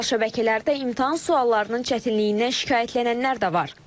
Sosial şəbəkələrdə imtahan suallarının çətinliyindən şikayətlənənlər də var.